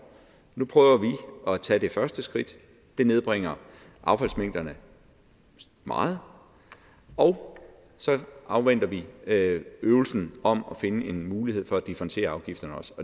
nu prøver at tage det første skridt det nedbringer affaldsmængderne meget og så afventer vi øvelsen om at finde en mulighed for også at differentiere afgifterne